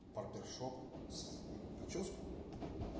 барбершоп с нет причёску